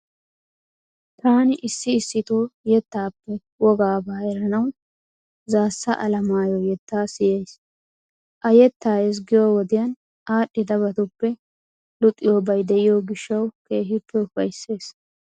Taani issi issitoo yettaappe wogaabaa eranawu Zaassa Alimaayo yettaa siyayiis. A yettaa ezggiyo wodiyan aadhdhidabatuppe luxiyobaayi de'iyo gishshawu keehippe ufayissees.